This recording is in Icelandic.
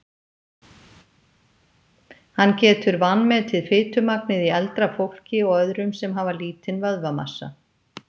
hann getur vanmetið fitumagnið í eldra fólki og öðrum sem hafa lítinn vöðvamassa